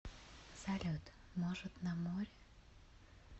салют может на море